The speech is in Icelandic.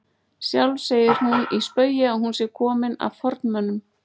Sjálf segir hún í spaugi að hún sé komin af formönnum